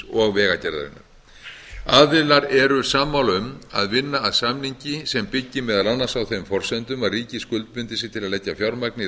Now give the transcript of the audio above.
og vegagerðarinnar aðilar eru sammála um að vinna að samningi sem byggi meðal annars á þeim forsendum að ríkið skuldbindi sig til að leggja fjármagn í